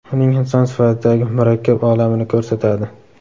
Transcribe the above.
uning inson sifatidagi murakkab olamini ko‘rsatadi.